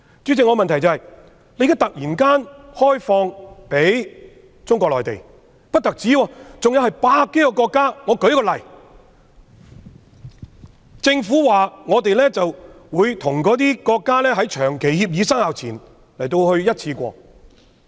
主席，香港現時突然向內地以至百多個國家開放移交逃犯的安排，政府又指會與這些國家在長期協定生效前一次過......